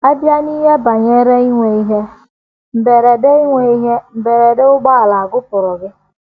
A bịa n’ihe banyere inwe ihe mberede inwe ihe mberede ụgbọala, à gụpụrụ gị?